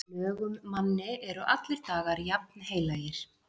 Lögum manni eru allir dagar jafnheilagir.